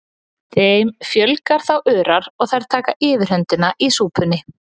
Þeim fjölgar þá örar og þær taka yfirhöndina í súpunni.